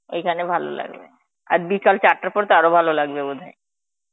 ওইখানে ভালো লাগে, আর বিকাল চারটের পর তো আরো ভালো লাগবে বোধ হয়.